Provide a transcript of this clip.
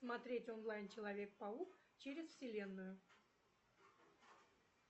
смотреть онлайн человек паук через вселенную